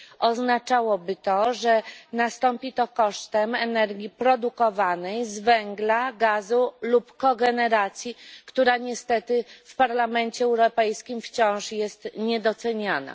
Oznaczałoby to, że nastąpi to kosztem energii produkowanej z węgla, gazu lub kogeneracji, która niestety w Parlamencie Europejskim wciąż jest niedoceniana.